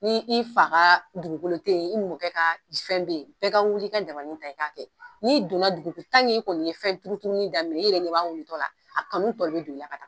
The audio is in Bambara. Ni i fa ka dugukolo teyi i mɔkɛ ka fɛn beyi bɛɛ ka wuli ka dabanin ta i k'a kɛ n'i donna dugu i kɔni ye fɛn turuturuli daminɛ i yɛrɛ ɲɛ b'a wolotɔ la a kanu tɔ de bɛ don i la ka taa.